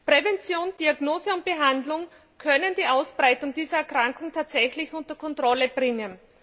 Prävention, Diagnose und Behandlung können die Ausbreitung dieser Erkrankung tatsächlich unter Kontrolle bringen.